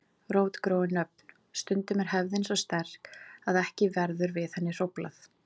Rótgróin nöfn Stundum er hefðin svo sterk að ekki verður við henni hróflað.